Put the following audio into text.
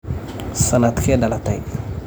Sanadkee dhalatay?